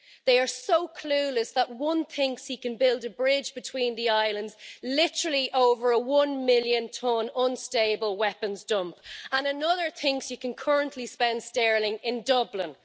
They are so clueless that one thinks he can build a bridge between the islands, literally over a one million tonne unstable weapons dump, and another thinks he can currently spend sterling in Dublin.